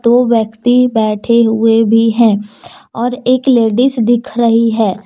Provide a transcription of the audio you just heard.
दो व्यक्ति बैठे हुए भी है और एक लेडिस दिख रही है।